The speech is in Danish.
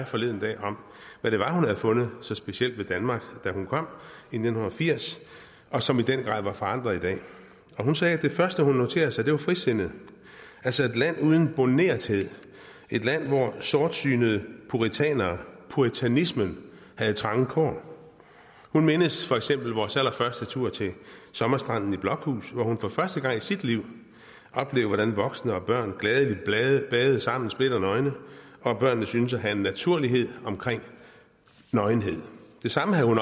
forleden dag om hvad det var hun havde fundet så specielt ved danmark da hun kom i nitten firs og som i den grad var forandret i dag hun sagde at det første hun noterede sig var frisindet altså et land uden bornerthed et land hvor sortsynede puritanere og puritanismen havde trange kår hun mindes for eksempel vores allerførste tur til sommerstranden i blokhus hvor hun for første gang i sit liv oplevede hvordan voksne og børn gladeligt badede sammen splitternøgne og børnene syntes at have en naturlighed omkring nøgenhed det samme havde hun